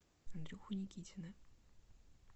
андрюху никитина